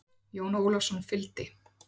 Jón Ólafsson fylgdi.